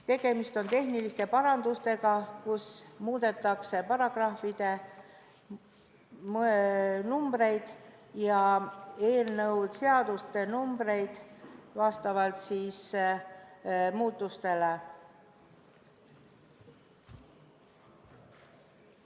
Tegemist on tehniliste parandustega, millega muudetakse eelnõus nimetatud paragrahvide numbreid vastavalt muudatustele.